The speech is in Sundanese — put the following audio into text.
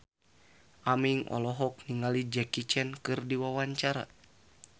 Aming olohok ningali Jackie Chan keur diwawancara